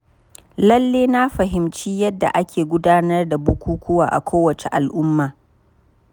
Lalle na fahimci yadda ake gudanar da bukukkuwa a kowace al’umma.